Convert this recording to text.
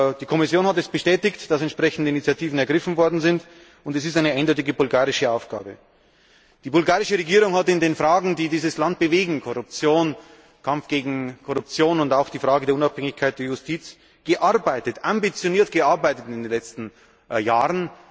Die Kommission hat bestätigt, dass entsprechende Initiativen ergriffen worden sind, und es ist eine eindeutige bulgarische Aufgabe. Die bulgarische Regierung hat in den Fragen, die dieses Land bewegen Korruption, Kampf gegen Korruption und auch die Frage der Unabhängigkeit der Justiz ambitioniert gearbeitet in den letzten Jahren.